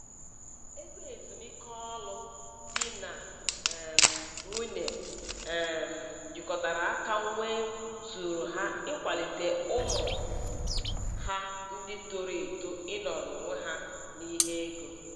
Ego ezumiike ọrụ di na um nwunye um jikọtara aka nwee zuuru ha ịkwalite ụmụ ha ndị toro eto ịnọrọ onwe ha n'ihe ego.